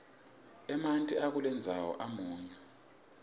emanti akulendzawo amunyu